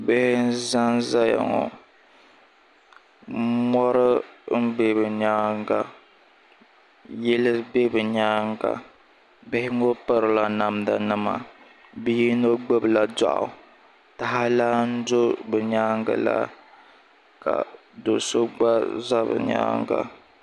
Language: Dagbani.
Bihi n zan zaya ŋɔ mɔri n bɛ bi nyaanga yili bɛ bi nyaanga bihi ŋɔ piri la namda nima bia yino gbubi la dɔɣu taha lan do bi nyaanga la ka doo so gba za bi nyaanga.